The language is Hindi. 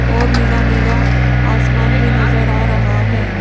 और नीला नीला आसमान भी नजर आ रहा है।